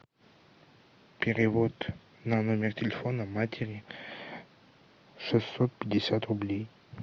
перевод на номер телефона матери шестьсот пятьдесят рублей